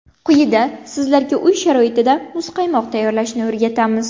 Quyida sizlarga uy sharoitida muzqaymoq tayyorlashni o‘rgatamiz.